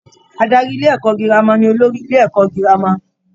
Adarí ilé-ẹ̀kọ́ girama ni olórí Ilé - ẹ̀kọ́ gírámà.